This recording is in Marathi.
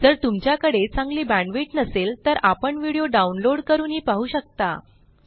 जर तुमच्याकडे चांगली बॅण्डविड्थ नसेल तर आपण व्हिडिओ डाउनलोड करूनही पाहू शकता